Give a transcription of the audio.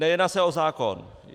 Nejedná se o zákon.